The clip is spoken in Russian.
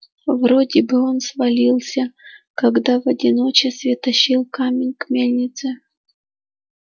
вроде бы он свалился когда в одиночестве тащил камень к мельнице